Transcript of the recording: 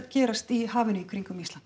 gerast í hafinu í kringum Ísland